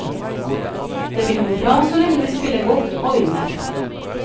Det vil gå bra så lenge vi spiller godt og vinner.